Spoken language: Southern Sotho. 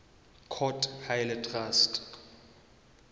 court ha e le traste